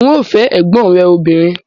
N óò fẹ́ ẹ̀gbọ́n rẹ obìnrin